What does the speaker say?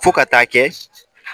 Fo ka taa kɛ